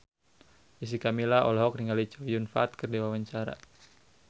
Jessica Milla olohok ningali Chow Yun Fat keur diwawancara